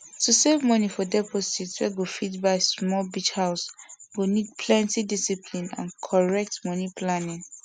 to save money for deposit wey go fit buy small beach house go need plenty discipline and correct money planning